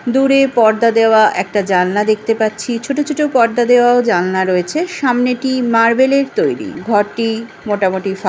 দূরে পর্দা দেওয়া একটা জানালা দেখতে পাচ্ছি ছোট ছোট পর্দা দেওয়াও জালনা রয়েছে সামনেটি মার্বেল -এর তৈরি ঘরটি মোটামুটি সা --